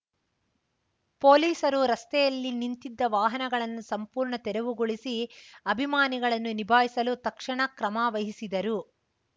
ಪೊಲೀಸರು ರಸ್ತೆಯಲ್ಲಿ ನಿಂತಿದ್ದ ವಾಹನಗಳನ್ನು ಸಂಪೂರ್ಣ ತೆರವುಗೊಳಿಸಿ ಅಭಿಮಾನಿಗಳನ್ನು ನಿಭಾಯಿಸಲು ತಕ್ಷಣ ಕ್ರಮ ವಹಿಸಿದರು